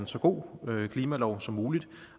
så god en klimalov som muligt